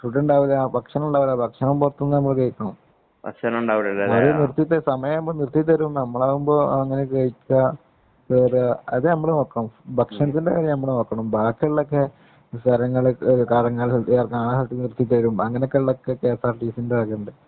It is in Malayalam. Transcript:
ഫുഡ് ഉണ്ടാവില്ല. ഭക്ഷണം ഉണ്ടാവില്ല. ഭക്ഷണം പുറത്ത് നിന്നു നമ്മള് കഴിക്കണം. വഴീ നിര്‍ത്തി തരും. സമയമാകുമ്പോ നിര്‍ത്തി തരും. നമ്മളാകുമ്പോള്‍ അങ്ങനെ കഴിക്കാം.അത് നമ്മള് നോക്കണം.ഭക്ഷണത്തിന്‍റെ കാര്യം നമ്മള് നോക്കണം. ബാക്കിയുള്ള കാര്യങ്ങള്ക്ക് വാഹനമോക്കെ നിര്‍ത്തി തരും. അങ്ങനെയൊക്കെ കെഎസ്ആര്‍ടിസിന്‍റെ വകയുണ്ട്.